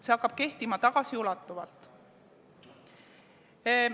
See hakkab kehtima tagasiulatuvalt.